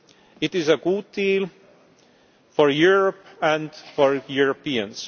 It is a good deal for Europe and for Europeans.